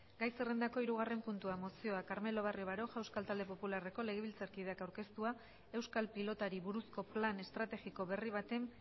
gai zerrendako hirugarren puntua mozioa carmelo barrio baroja euskal talde popularreko legebiltzarkideak aurkeztua euskal pilotari buruzko plan estrategiko berri baten